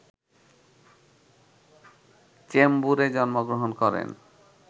চেম্বুরে জন্মগ্রহণ করেন